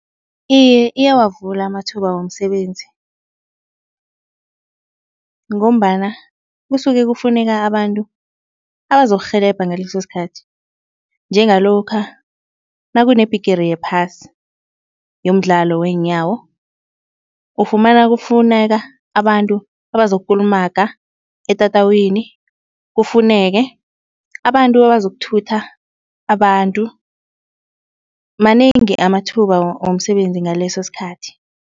Iye iyawavula amathuba womsebenzi ngombana kusuke kufuneka abantu abazokurhelebha ngaleso sikhathi. Njengalokha nakunebhigiri yephasi yomdlalo weenyawo, ufumana kufuneka abantu abazokukulumaga etatawini, kufuneke abantu abazokuthutha abantu. Manengi amathuba womsebenzi ngaleso sikhathi.